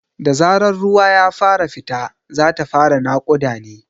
Da zarar ruwa ya fara fita, za ta fara naƙuda ne.